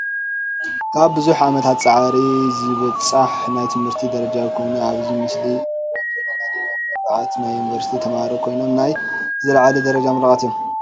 ካብ ብዙሕ ዓመታት ፃዕሪ ዝብፃሕ ናይ ትምህርቲ ደረጃ ኮይኑ ።ኣብዚ ምስሊ እንርእዮም ዘለና ድማ ምረቃት ናይ ዩንቨርሲቲ ተማህሮ ኮይኖም። ናይ ዝላዕለ ደረጃ ምሩቃት እዮም።